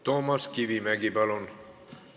Toomas Kivimägi, palun!